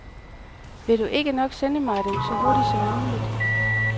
Vil du ikke nok sende mig dem så hurtigt som muligt.